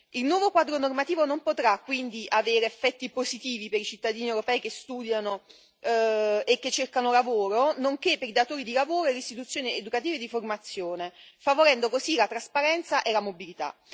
Il nuovo quadro normativo non potrà quindi che avere effetti positivi per i cittadini europei che studiano e che cercano lavoro, nonché per i datori di lavoro e le istituzioni educative e di formazione, favorendo così la trasparenza e la mobilità.